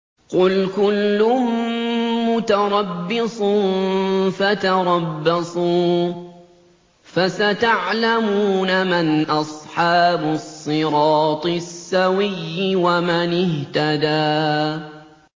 قُلْ كُلٌّ مُّتَرَبِّصٌ فَتَرَبَّصُوا ۖ فَسَتَعْلَمُونَ مَنْ أَصْحَابُ الصِّرَاطِ السَّوِيِّ وَمَنِ اهْتَدَىٰ